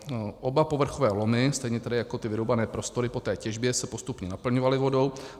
Oba povrchové lomy, stejně tedy jako ty vyrubané prostory po té těžbě, se postupně naplňovaly vodou.